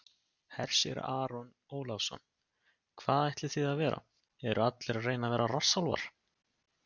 Hersir Aron Ólafsson: Hvað ætlið þið að vera, eru allir að reyna að vera rassálfar?